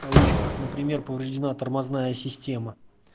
кавычках например повреждена тормозная система